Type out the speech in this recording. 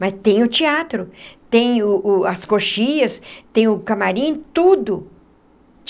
Mas tem o teatro, tem o o as coxias, tem o camarim, tudo!